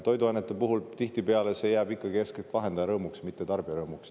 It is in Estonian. Toiduainete puhul tihtipeale see jääb eeskätt vahendaja rõõmuks, mitte tarbija rõõmuks.